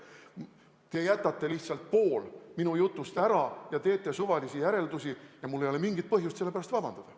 Te jätate lihtsalt pool minu jutust ära ja teete suvalisi järeldusi ja mul ei ole mingit põhjust selle pärast vabandada.